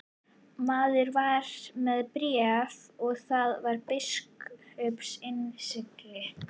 Maðurinn var með bréf og þar á biskups innsigli.